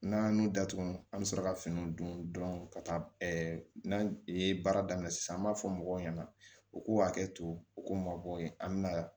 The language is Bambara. N'an datugu an bɛ sɔrɔ ka finiw don ka taa n'an ye baara daminɛ sisan an b'a fɔ mɔgɔw ɲɛna u k'u hakɛ to u k'u mabɔ yen an bɛna